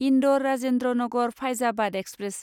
Indore Rajendra Nagar Faizabad express